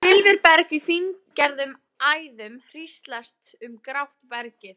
Silfurberg í fíngerðum æðum hríslast um grátt bergið.